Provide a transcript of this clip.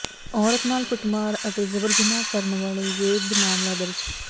ਔਰਤ ਨਾਲ ਕੁੱਟਮਾਰ ਅਤੇ ਜਬਰ ਜਨਾਹ ਕਰਨ ਵਾਲੇ ਵਿਰੁੱਧ ਮਾਮਲਾ ਦਰਜ